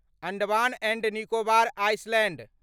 Andaman and Nicobar Island